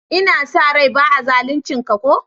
N'na sa rai ba'a zalunce ka ko?